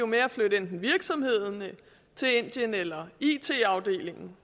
med at flytte enten virksomheden eller it afdelingen